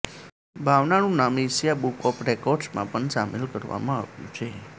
ભાવનાનું નામ Asia book of રેકોર્ડ્ઝમાં પણ સામેલ કરવામાં આવ્યું છે